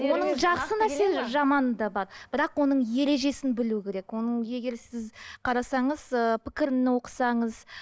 оның жақсы нәрселері жаманы да бар бірақ оның ережесін білу керек оның егер сіз қарасаңыз ы пікірін оқысаңыз